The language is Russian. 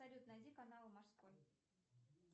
салют найди канал морской